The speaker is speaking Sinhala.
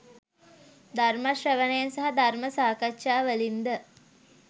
ධර්මශ්‍රවණයෙන් සහ ධර්ම සාකච්ඡා වලින් ද